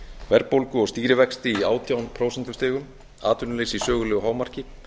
verðbólgu og stýrivexti í átján prósentustigum atvinnuleysi í sögulegu hámarki